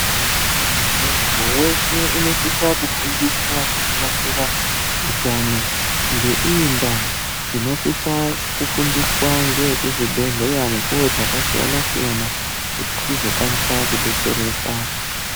Muntu weshe unosise kufundiswa zvakanakira utano. Ngeiyi ndaa tinosisa kufundiswa ngeve kuzvibhedhlera mukuwo dzakasiyana-siyana kuti tizokwanisa kubetsereka.